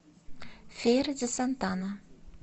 фейра ди сантана